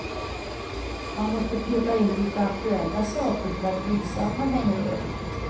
Man måste peta in lite aktuella saker för att visa att man hänger med.